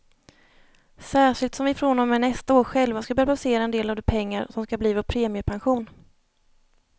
Särskilt som vi från och med nästa år själva ska börja placera en del av de pengar som ska bli vår premiepension.